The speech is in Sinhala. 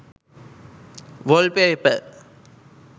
wallpaper